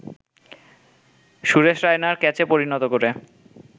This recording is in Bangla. সুরেশ রায়নার ক্যাচে পরিণত করে